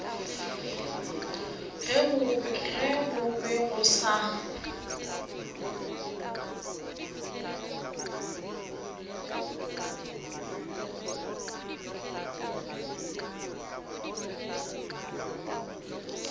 ge go be go sa